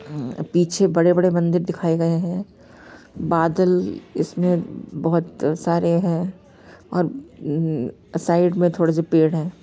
पीछे बड़े-बड़े मंदिर दिखाए गए हैं बादल इसमें बहुत सारे हैं और साइड में थोड़े से पेड़ है।